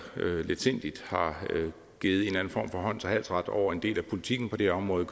letsindigt har givet en eller anden form for hånds og halsret over en del af politikken på det område